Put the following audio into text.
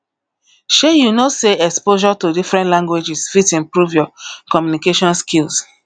shey you know sey exposure to different languages fit improve your communication skills